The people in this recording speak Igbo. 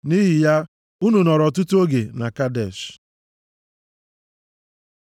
Nʼihi ya, unu nọrọ ọtụtụ oge na Kadesh.